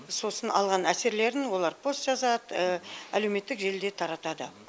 сосын алған әсерлерін олар пост жазады әлеуметтік желіде таратады